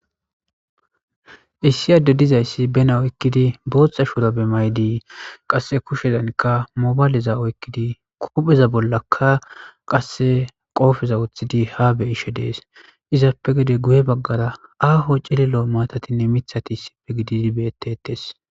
Issi adde dizayssi bena oykkidi booththa shurabe maydii qasse kushedankka mobaaliza oykkidi kuupheza bollakka qasse qoofeza wuthidi ha be ishe dees izappe gede guye baggara aaho cililo maatatinne mithati issippe gididi beettetes.